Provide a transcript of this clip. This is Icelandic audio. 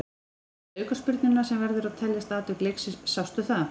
En varðandi aukaspyrnuna sem verður að teljast atvik leiksins, sástu það?